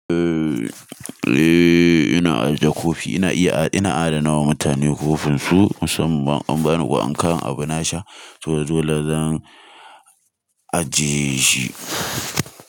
Eh, eh ina ajiye kofi, ina iya ina adanawa wa mutane kofinsu musamman ma in an bani ko an kawon abu na sha, to dole zan ajiye shi.